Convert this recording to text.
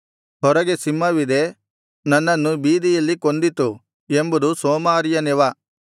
ಹೊರಗೆ ಸಿಂಹವಿದೆ ನನ್ನನ್ನು ಬೀದಿಯಲ್ಲಿ ಕೊಂದ್ದಿತು ಎಂಬುದು ಸೋಮಾರಿಯ ನೆವ